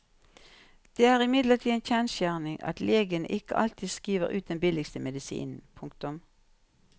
Det er imidlertid en kjensgjerning at legene ikke alltid skriver ut den billigste medisinen. punktum